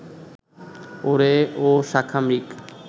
ওরে ও শাখামৃগ